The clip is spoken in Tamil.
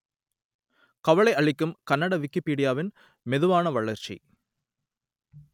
கவலை அளிக்கும் கன்னட விக்கிப்பீடியாவின் மெதுவான வளர்ச்சி